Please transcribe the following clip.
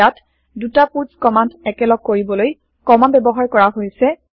ইয়াত দুটা পুৎছ কমান্দ একেলগ কৰিবলৈ কমা ব্যৱহাৰ কৰা হৈছে